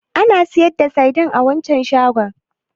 Ana sayar da saidin a waccan shagon?